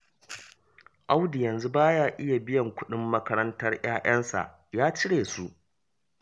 Audu yanzu ba ya iya biyan kuɗin makarantar 'ya'yansa, ya cire su